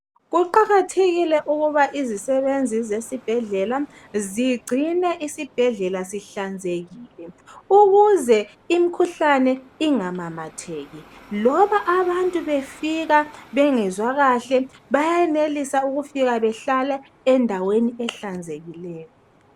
Kuqakathekile ukuba izisebenzi zesibhedlela zigcine isibhendlela sihlanze kile ukuze imikhuhlane ingamamatheki loba abantu befika bengezwa kahle bayenelisa ukufika behlale endaweni ehlanzekileyo